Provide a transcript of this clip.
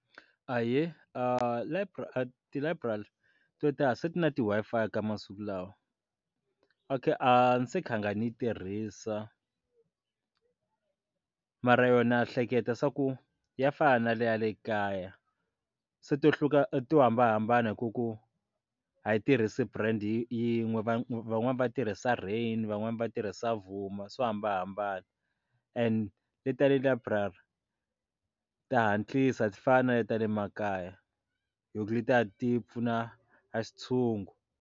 Ahee, library ti library to tala se na ti Wi-Fi ka masiku lawa okay ni se kha nga ni tirhisa mara yona na hleketa swa ku ya fana na ya le kaya se to hluka to hambanahambana hi ku ku a yi tirhisi brand yin'we vana van'wani va tirhisa Rain van'wani va tirhisa Vuma swo hambanahambana and le ta le library ti hatlisa a ti fana na le ta le makaya hi ku letiya ti pfuna a xi ntshungu.